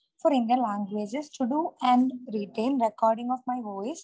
four Indian languages for do and written recording of my voice